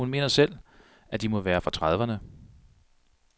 Hun mener selv, at de må være fra trediveerne.